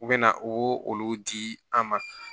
U bɛ na u b'o olu di an ma